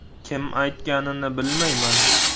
Kim aytganini bilmayman.